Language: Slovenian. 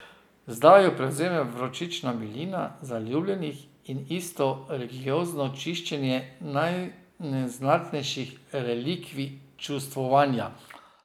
Zdaj jo prevzema vročična milina zaljubljenih in isto religiozno čaščenje najneznatnejših relikvij čustvovanja.